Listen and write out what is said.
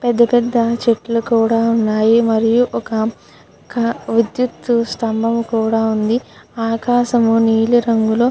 పెద్ద పెద్ద చెట్లు కూడా ఉన్నాయి. మరియు ఒక విద్యుత్ స్తంభం కూడా ఉంది. ఆకాశము నీలిరంగులో--